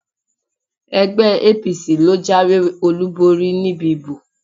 Ẹgbẹ́ APC ló jáwèé olúborí níbi ìbò.